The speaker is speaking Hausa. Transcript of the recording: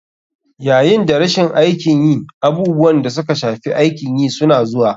Yayin da rashin aikin yi, abubuwan da suka shafi aikin yi suna zuwa.